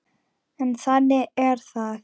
En þannig er það.